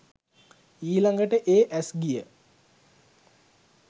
ඊළඟට ඒ ඇස් ගිය